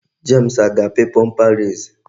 James a ga-api bomba res?